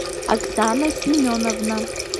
оксана семеновна